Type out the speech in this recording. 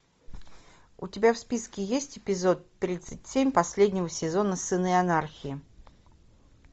у тебя в списке есть эпизод тридцать семь последнего сезона сыны анархии